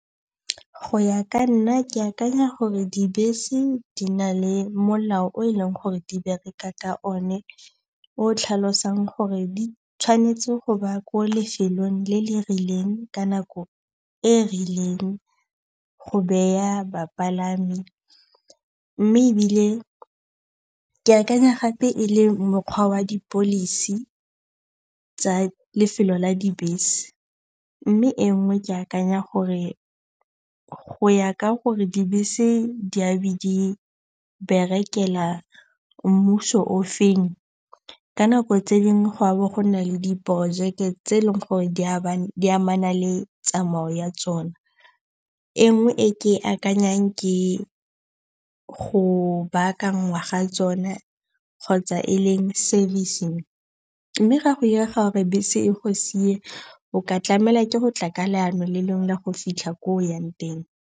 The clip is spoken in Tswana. Go ya ka nna ke akanya gore dibese di na le molao o e leng gore di bereka ka one o tlhalosang gore di tshwanetse go ba ko lefelong le le rileng ka nako e rileng go beya bapalami. Mme ebile ke akanya gape e le mokgwa wa di-policy tsa lefelo la dibese. Mme e nngwe ke akanya gore go ya ka gore dibese di a be di berekela mmuso o feng, ka nako tse dingwe go a bo go nna le di projeke tse e leng gore di amana le tsamayo ya tsona. E nngwe e ke akanyang ke go baakangwa ga tsone kgotsa e leng service-ng. Mme ga go direga gore bese e go sie, o ka tlamela ke go tla ka leano le lengwe la go fitlha ko o yang teng.